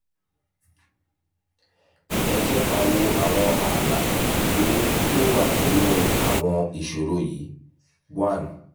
ẹ jẹ́ ká wo àwọn ààlà tó tó wà nínú àwọn ìṣòro yìí: one